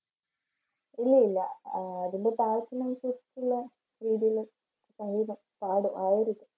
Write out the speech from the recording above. ഇല്ല, ഇല്ല അഹ് അതിൻറെ പാകത്തിനനുസരിച്ചുള്ള രീതിയിൽ സംഗീതം പാടും ആ ഒരു